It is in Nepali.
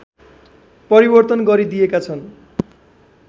परिवर्तन गरिदिएका छन्